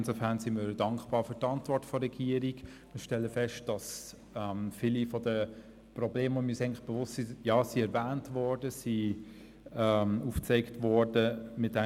Insofern sind wir für die Antwort der Regierung dankbar und stellen fest, dass viele der Probleme, derer wir uns eigentlich bewusst sind, erwähnt und aufgezeigt worden sind.